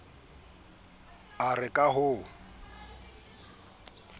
e re ka ha o